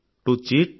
to cheat